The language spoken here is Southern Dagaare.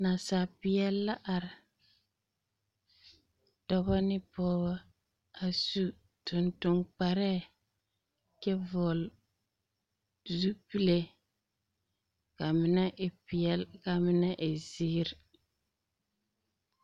Nansapeԑ la are, dͻbͻ ne pͻgebͻ. A su tontoŋkparԑԑ kyԑ vͻgele zupile. Ka a mine e peԑle ka a mine e zeere.